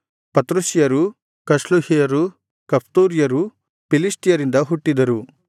ಪತ್ರುಸ್ಯರು ಕಸ್ಲುಹ್ಯರು ಕಫ್ತೋರ್ಯರು ಫಿಲಿಷ್ಟಿಯರಿಂದ ಹುಟ್ಟಿದರು